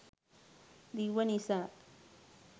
දිව්ව නිසා